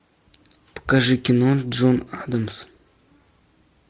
покажи кино джон адамс